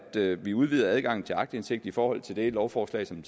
vi udvider adgangen til aktindsigt i forhold til det lovforslag som